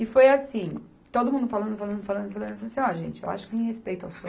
E foi assim, todo mundo falando, falando, falando, falando e eu falei assim, ó gente, eu acho que em respeito ao Seu